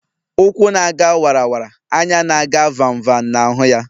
Ụkwụ na- aga wara wara, anya na-aga vam vam na-ahụ ya.